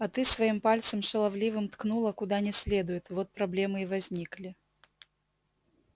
а ты своим пальцем шаловливым ткнула куда не следует вот проблемы и возникли